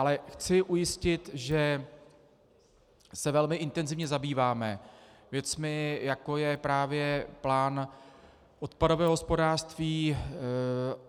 Ale chci ujistit, že se velmi intenzivně zabýváme věcmi, jako je právě plán odpadového hospodářství.